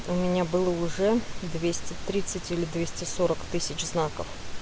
у меня было уже двести тридцать или двести сорок тысяч знаков